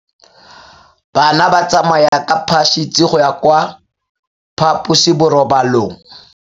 Bana ba tsamaya ka phašitshe go ya kwa phaposiborobalong.